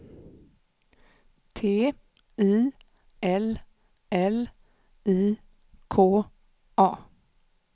T I L L I K A